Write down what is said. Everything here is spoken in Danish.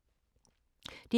DR K